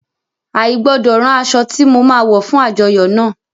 I gbọdọ rán aṣọ ti mo ma wọ fún àjọyọ́ náà.